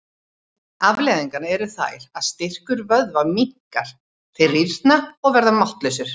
Afleiðingarnar eru þær að styrkur vöðva minnkar, þeir rýrna og verða máttlausir.